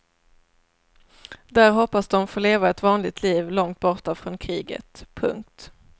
Där hoppas de få leva ett vanligt liv långt borta från kriget. punkt